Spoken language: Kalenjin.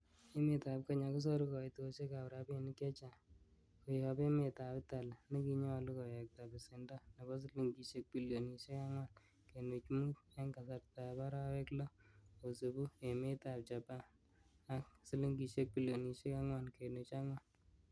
Emetab Kenya kosoru koitosiekab rabinik chechang kotob emetab Italy, nekinyolu kowekta besendo nebo silingisiek bilionisiek angwan kenuch mut, en kasartab arawek loo, kosibu emetab Japan ak silingisiek bilionisiek ang'wan kenuch ang'wan.